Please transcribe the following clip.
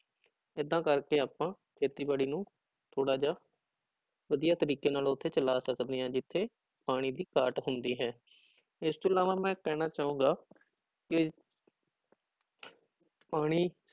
ਏਦਾਂ ਕਰਕੇ ਆਪਾਂ ਖੇਤੀਬਾੜੀ ਨੂੰ ਥੋੜ੍ਹਾ ਜਿਹਾ ਵਧੀਆ ਤਰੀਕੇ ਨਾਲ ਉੱਥੇ ਚਲਾ ਸਕਦੇ ਹਾਂ ਜਿੱਥੇ ਪਾਣੀ ਦੀ ਘਾਟ ਹੁੰਦੀ ਹੈ, ਇਸ ਤੋਂ ਇਲਾਵਾ ਮੈਂ ਕਹਿਣਾ ਚਾਹਾਂਗਾ ਕਿ ਪਾਣੀ